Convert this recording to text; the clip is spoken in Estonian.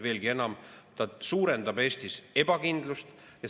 Veelgi enam, see suurendab Eestis ebakindlust.